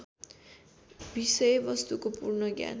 विषयवस्तुको पूर्ण ज्ञान